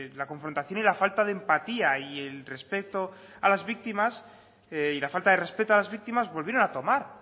la confrontación y la falta de empatía y la falta de respeto a las víctimas volvieron a tomar